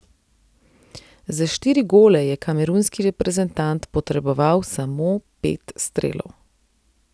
Za štiri gole je kamerunski reprezentant potreboval samo pet strelov.